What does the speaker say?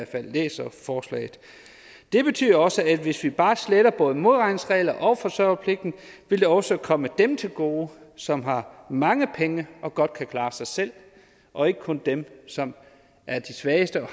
jeg læser forslaget det betyder også at hvis vi bare sletter både modregningsreglerne og forsørgerpligten vil det også komme dem til gode som har mange penge og godt kan klare sig selv og ikke kun dem som er de svageste og